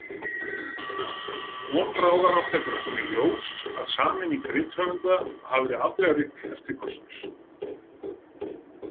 Von bráðar átti eftir að koma í ljós að sameining rithöfunda hafði afdrifarík eftirköst.